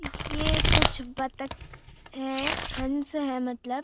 ये कुछ बातक है हंस है मलतब।